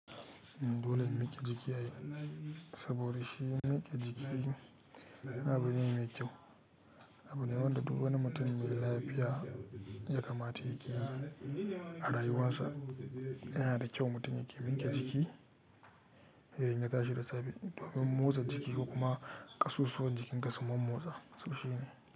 Dole mu miƙe jiki, saboda shi miƙe jiki abu ne mai kyau. Abu ne wanda du wani mutum mai lafiya ya kamata yake yi a rayuwarsa. Yana da kyau mutum yake miƙe jiki, ya yi tashe da safe domin motsa jiki ko kuma ƙasusuwan jikinka su mon motsa, soshi ne.